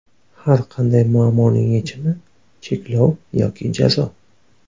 Har qanday muammoning yechimi - cheklov yoki jazo.